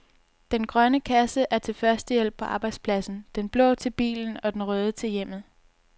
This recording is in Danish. Den grønne kasse er til førstehjælp på arbejdspladsen, den blå til bilen og den røde til hjemmet.